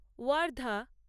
Wardha